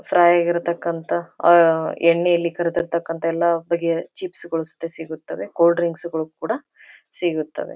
Fry ಆಗಿರತಕ್ಕಂತ ಅಹ್ ಎಣ್ಣೆಯಲ್ಲಿ ಕರೆದಿತಕ್ಕಂತಹ ಎಲ್ಲ ಬಗೆಯ ಚಿಪ್ಸ್ ಗಳು ಸಿಗುತ್ತವೆ ಕೋಲ್ಡ್ ಡ್ರಿಂಕ್ಸ್ ಗಳು ಕೂಡ ಸಿಗುತ್ತವೆ.